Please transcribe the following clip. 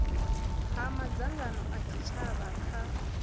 ha madzangano a tshitshavha kha